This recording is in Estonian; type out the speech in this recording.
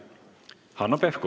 Hanno Pevkur.